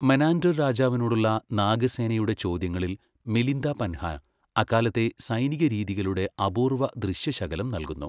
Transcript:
Menander രാജാവിനോടുള്ള നാഗസേനയുടെ ചോദ്യങ്ങളിൽ മിലിന്ദ പൻഹ അക്കാലത്തെ സൈനിക രീതികളുടെ അപൂർവ്വ ദൃശ്യശകലം നൽകുന്നു.